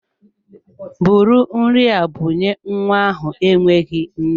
Bụrụ nri a bunye nwa ahụ enweghị nne!